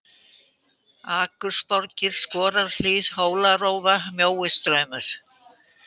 Akursborgir, Skorarhlíð, Hólarófa, Mjóistraumur